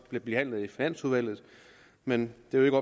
blive behandlet i finansudvalget men det er jo